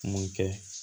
Mun kɛ